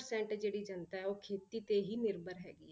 Percent ਜਿਹੜੀ ਜਨਤਾ ਹੈ ਉਹ ਖੇਤੀ ਤੇ ਹੀ ਨਿਰਭਰ ਹੈਗੀ ਹੈ।